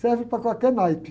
Serve para qualquer naipe.